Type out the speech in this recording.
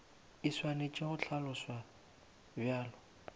e swanetše go hlaloswa bjalo